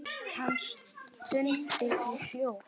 Hann stundi í hljóði.